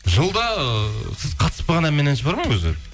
жылда ы сіз қатыспаған ән мен әнші бар ма өзі